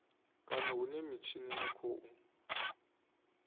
kana hune mitshini ya khou